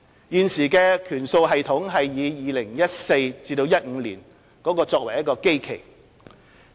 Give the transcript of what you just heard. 現時的權數系統以 2014-2015 年度作基期。